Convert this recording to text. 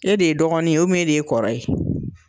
E de ye dɔgɔnin ye e de ye kɔrɔ ye.